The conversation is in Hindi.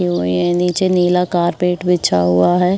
इनमे नीचे नीला कारपेट बिछा हुआ है।